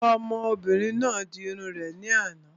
Ọmọbìnrin náà di irun rẹ̀ ní àná